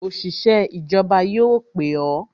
Òṣìṣẹ́ ìjọba yóò pè o